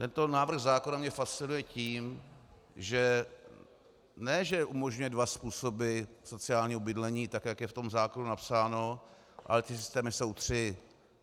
Tento návrh zákona mě fascinuje tím, že ne že umožňuje dva způsoby sociálního bydlení, tak jak je v tom zákonu napsáno, ale ty systémy jsou tři.